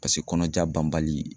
Paseke kɔnɔja banbali